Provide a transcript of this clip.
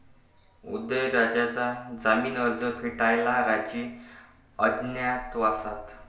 उदयनराजेंचा जामीन अर्ज फेटाळला, राजे अज्ञातवासात